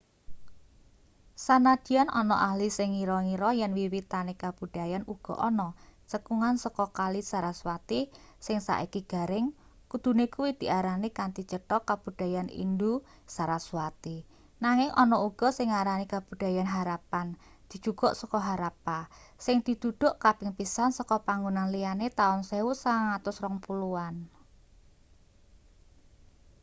sanadyan ana ahli sing ngira-ngira yen wiwitane kabudayan uga ana cekungan saka kali saraswati sing saiki garing kudune kuwi diarani kanthi cetho kabudayan indus-saraswati nanging ana uga sing ngarani kabudayan harappan dijukuk saka harappa sing diduduk kaping pisan saka panggonan liyane taun 1920an